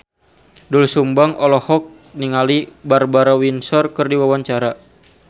Doel Sumbang olohok ningali Barbara Windsor keur diwawancara